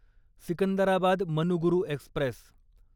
Secunderabad Manuguru Express